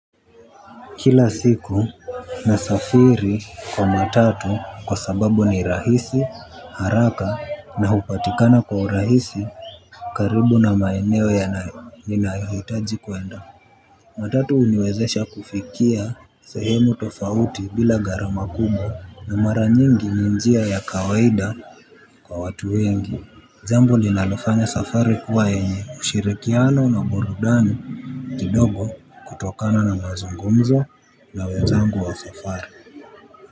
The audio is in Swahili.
Kila siku nasafiri kwa matatu kwa sababu ni rahisi, haraka na hupatikana kwa urahisi karibu na maeneo yanayo ninayo hitaji kwenda. Matatu huniwezesha kufikia sehemu tofauti bila gharama kubwa na mara nyingi ni njia ya kawaida kwa watu wengi. Jambo linalofanya safari kuwa enye ushirikiano na burudani kidogo kutokana na mazungumzo na wezangu wa safari.